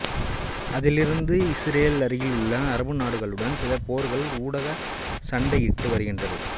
அதிலிருந்து இசுரேல் அருகிலுள்ள அரபு நாடுகளுடன் சில போர்கள் ஊடாக சண்டையிட்டு வருகின்றது